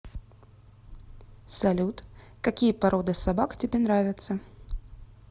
салют какие породы собак тебе нравятся